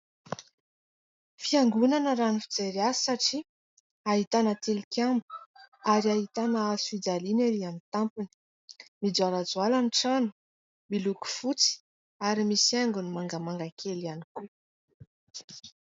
Fiangonana raha ny fijery azy satria ahitana tilikambo ary ahitana hazofijaliana ery amin'ny tampony, mijoalajoala ny trano ; miloko fotsy ary misy haingony mangamanga kely ihany koa.